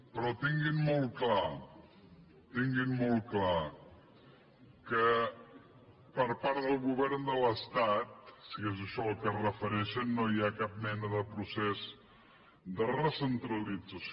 però tinguin molt clar tinguin molt clar que per part del govern de l’estat si és a això al que es referei·xen no hi ha cap mena de procés de recentralització